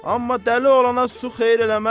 amma dəli olana su xeyir eləməz.